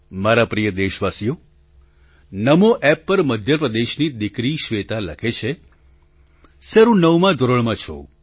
મારા પ્રિય દેશવાસીઓ નામો App પર મધ્ય પ્રદેશથી દીકરી શ્વેતા લખે છે સર હું નવમા ધોરણમાં છું